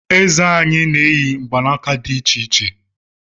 Eze anyị na-eyi mgbanaka di icheiche